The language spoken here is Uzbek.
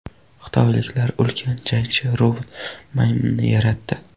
Xitoyliklar ulkan jangchi robot-maymunni yaratdi.